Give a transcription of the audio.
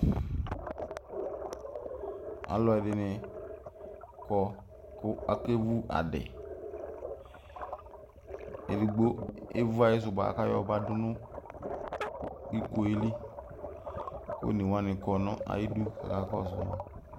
alɔdini kɔ ku akevu adi edigbo evu ayisubua kakayo la dʊ nʊ ikuelɩ onewani kɔ nʊ ayidʊ kakakɔsʊ